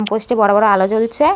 Post -টি বড় বড় আলো জ্বলছে ।